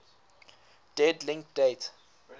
dead link date